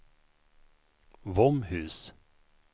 Våmhus